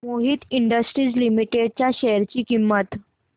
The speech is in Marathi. मोहित इंडस्ट्रीज लिमिटेड च्या शेअर ची किंमत